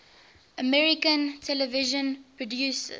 american television producers